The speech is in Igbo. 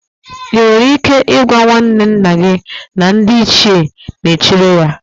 Ị nwere ike ịgwa nwanne nna gị na ndị Ichie ga-echere ya?